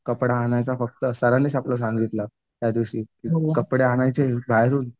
कपडा आणायचा फक्त सरांनीच आपल्या सांगितलं. त्यादिवशी कपडे आणायचे बाहेरून